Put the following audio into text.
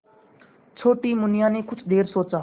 छोटी मुनिया ने कुछ देर सोचा